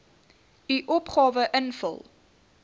u opgawe invul